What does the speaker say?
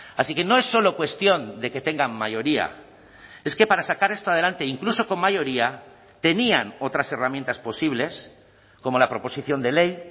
así que no es solo cuestión de que tengan mayoría es que para sacar esto adelante incluso con mayoría tenían otras herramientas posibles como la proposición de ley